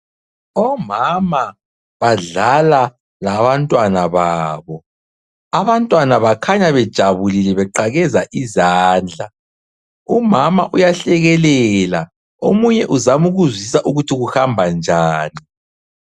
Omama badlala labantwana babo. Abantwana bakhanya bejabulile beqakeza izandla. Umama uyahlekelela omunye uzama ukuzwisisa ukuthi kuhamba njani.